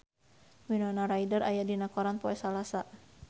Winona Ryder aya dina koran poe Salasa